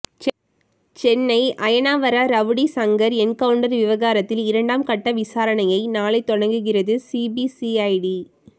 Chennai Ayanavaram rowdy Shankar encounter விவகாரத்தில் இரண்டாம் கட்ட விசாரணையை நாளை தொடங்குகிறது சிபிசிஐடி